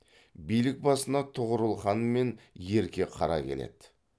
билік басына тұғырыл хан мен ерке қара келеді